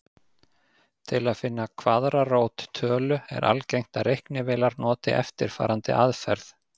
Til að finna kvaðratrót tölu er algengt að reiknivélar noti eftirfarandi aðferð.